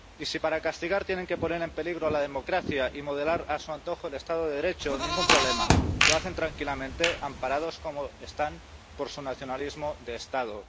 Y si para castigar tienen que poner en peligro la democracia y modelar a su antojo el Estado de Derecho, ningún problema lo hacen tranquilamente, amparados como están por su nacionalismo de Estado.